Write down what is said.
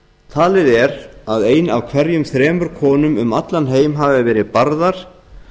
talið er að ein af hverjum þremur konum um allan heim hafi verið barðar